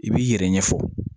I b'i yɛrɛ ɲɛfɔ